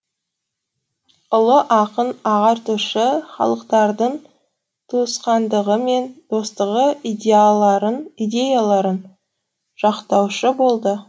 ұлы ақын ағартушы халықтардың туысқандығы мен достығы идеяларын жақтаушы болды